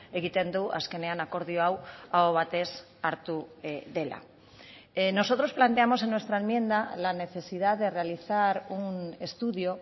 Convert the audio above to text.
egiten du azkenean akordio hau aho batez hartu dela nosotros planteamos en nuestra enmienda la necesidad de realizar un estudio